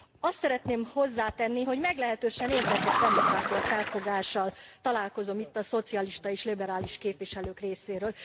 Azt szeretném hozzátenni, hogy meglehetősen érdekes demokráciafelfogással találkozom itt a szocialista és liberális képviselők részéről.